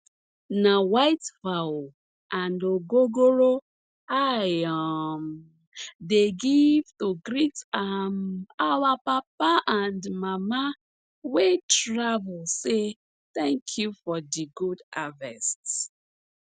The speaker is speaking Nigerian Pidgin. na white fowl and ogogoro i um dey give to greet um our papa and mama wey travel say thank you for di good harvest